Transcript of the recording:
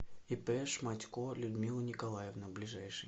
ип шматько людмила николаевна ближайший